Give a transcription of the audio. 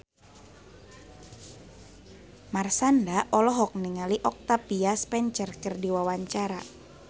Marshanda olohok ningali Octavia Spencer keur diwawancara